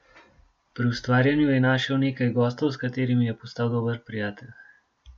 Pri ustvarjanju je našel nekaj gostov, s katerimi je postal dober prijatelj.